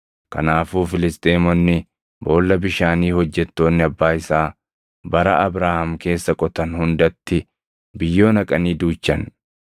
Kanaafuu Filisxeemonni boolla bishaanii hojjettoonni abbaa isaa bara Abrahaam keessa qotan hundatti biyyoo naqanii duuchan.